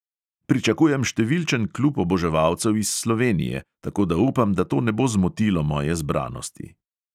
"Pričakujem številčen klub oboževalcev iz slovenije, tako da upam, da to ne bo zmotilo moje zbranosti."